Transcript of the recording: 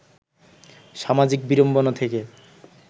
সামাজিক বিড়ম্বনা থেকে